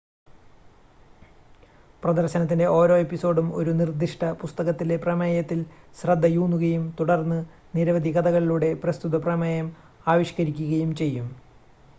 പ്രദർശനത്തിൻ്റെ ഓരോ എപ്പിസോഡും ഒരു നിർദ്ദിഷ്ട പുസ്തകത്തിലെ പ്രമേയത്തിൽ ശ്രദ്ധയൂന്നുകയും തുടർന്ന് നിരവധി കഥകളിലൂടെ പ്രസ്തുത പ്രമേയം ആവിഷ്ക്കരിക്കുകയും ചെയ്യും